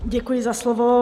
Děkuji za slovo.